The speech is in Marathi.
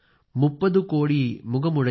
उयिर् मोइम्बुर ओंद्दुडैयाळ